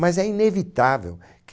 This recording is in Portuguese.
Mas é inevitável que